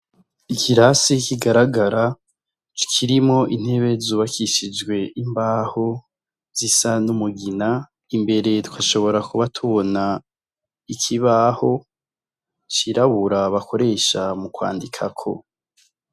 Ikirasi kigaragara kirimwo intebe zubakishijwe imbaho zisa n' umugina imbere tugashobora kuba tubona ikibaho cirabura bakoresha mu kwandikako.